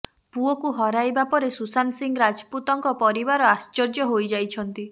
ପୁଅକୁ ହରାଇବା ପରେ ସୁଶାନ୍ତ ସିଂ ରାଜପୁତଙ୍କ ପରିବାର ଆଶ୍ଚର୍ଯ୍ୟ ହୋଇଯାଇଛନ୍ତି